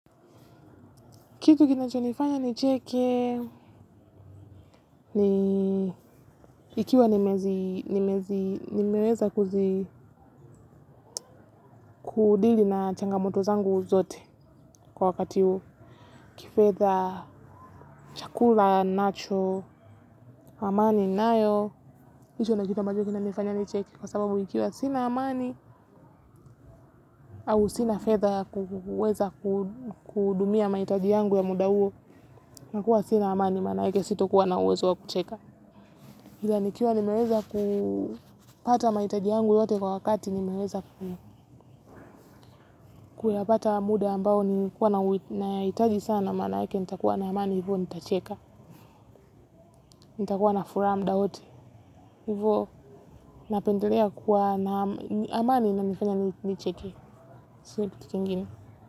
Kitu kinachonifanya nicheke ni ikiwa nimeweza. Kudili na changamoto zangu zote kwa wakati, kifedha, chakula ninacho, amani ninayo kwa sababu ikiwa sina amani au sina fedha kuweza kuhudumia mahitaji yangu ya muda huo, nakuwa sina amani manawege sito kuwa na uwezo wa kucheka. Ila nikiwa nimeweza kupata mahitaji yangu yote kwa wakati nimeweza kuyapata muda ambao ni kuwa nahitaji sana maanake nitakuwa na amani hivyo nitacheka. Nitakuwa na furaha muda wote. Hivyo napendelea kuwa na amani inanifanya nicheke. Sio kitu kingine.